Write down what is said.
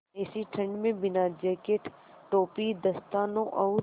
ऐसी ठण्ड में बिना जेकेट टोपी दस्तानों और